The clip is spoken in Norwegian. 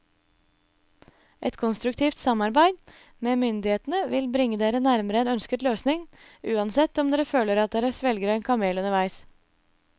Et konstruktivt samarbeid med myndighetene vil bringe dere nærmere en ønsket løsning, uansett om dere føler at dere svelger en kamel underveis.